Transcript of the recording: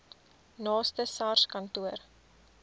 naaste sars kantoor